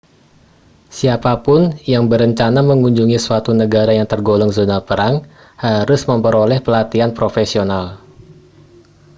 siapa pun yang berencana mengunjungi suatu negara yang tergolong zona perang harus memperoleh pelatihan profesional